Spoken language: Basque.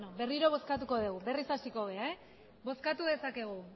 berriro bozkatuko degu berriz hasiko gara bozkatu dezakegu